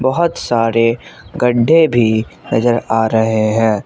बहोत सारे गड्ढे भी नजर आ रहे हैं।